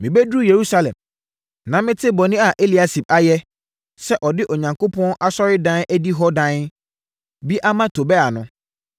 Mebɛduruu Yerusalem, na metee bɔne a Eliasib ayɛ, sɛ ɔde Onyankopɔn Asɔredan adihɔ dan bi ama Tobia no,